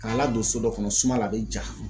K'a ladon so dɔ kɔnɔ suma la a bɛ ja